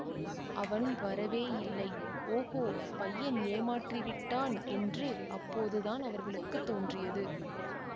அவன் வரவேயில்லை ஓகோ பையன் ஏமாற்றி விட்டான் என்று அப்போதுதான் அவர்களுக்கு தோன்றியது